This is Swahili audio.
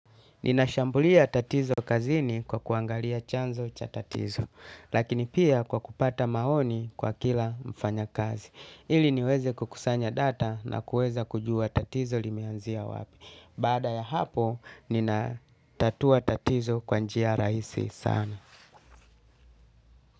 Ninashambulia tatizo kazini kwa kuangalia chanzo cha tatizo, lakini pia kwa kupata maoni kwa kila mfanyakazi. Ili niweze kukusanya data na kuweza kujua tatizo limeanzia wapi. Baada ya hapo, ninatatua tatizo kwa njia rahisi sana.